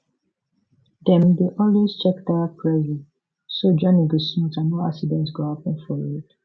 dem dey always check tire pressure so journey go smooth and no accident go happen for road